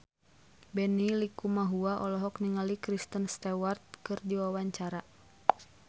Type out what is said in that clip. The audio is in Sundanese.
Benny Likumahua olohok ningali Kristen Stewart keur diwawancara